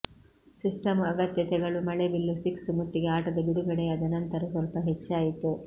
system ಅಗತ್ಯತೆಗಳು ಮಳೆಬಿಲ್ಲು six ಮುತ್ತಿಗೆ ಆಟದ ಬಿಡುಗಡೆಯಾದ ನಂತರ ಸ್ವಲ್ಪ ಹೆಚ್ಚಾಯಿತು